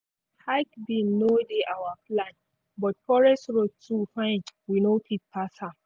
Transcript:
hike bin no dey our plan but forest road too fine we no fit pass am.